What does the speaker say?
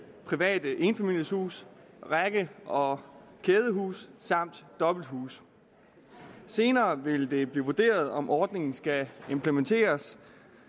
private enfamilieshuse række og kædehuse samt dobbelthuse senere vil det blive vurderet om ordningen skal implementeres